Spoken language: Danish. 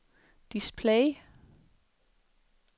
display